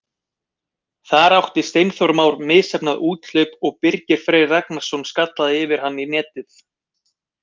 Þar átti Steinþór Már misheppnað úthlaup og Birgir Freyr Ragnarsson skallaði yfir hann í netið.